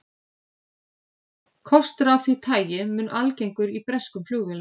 Kostur af því tagi mun algengur í breskum flugvélum.